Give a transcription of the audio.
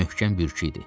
Möhkəm bürkürdü.